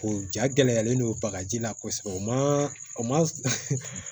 O ja gɛlɛyalen don bagaji la kosɛbɛ o ma o ma